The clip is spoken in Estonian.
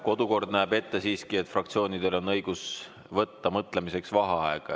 Kodukord näeb siiski ette, et fraktsioonidel on õigus võtta mõtlemiseks vaheaega.